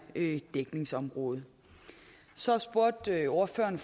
dækningsområde så spurgte ordføreren